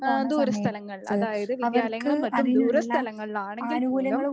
ആഹ് ദൂരസ്ഥലങ്ങളിൽ അതായത് വിദ്യാലയങ്ങളും മറ്റും ദൂരസ്ഥലങ്ങളിലാണെങ്കിൽ പോലും